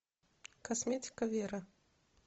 косметика вера